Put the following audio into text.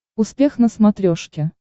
успех на смотрешке